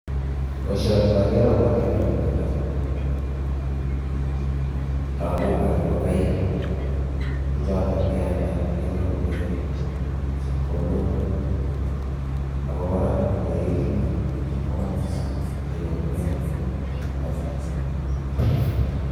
Boishoni ngaker abwati lokunetab lagokab ingokaik che chotok kealda kenyorune chepkondok ako kora ngoekitu komuch kenyorune banyek.